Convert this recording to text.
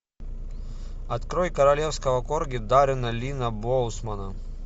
открой королевского корги даррена линна боусмана